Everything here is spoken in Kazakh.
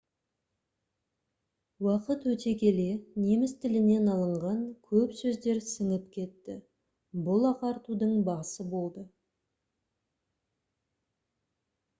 уақыт өте келе неміс тілінен алынған көп сөздер сіңіп кетті бұл ағартудың басы болды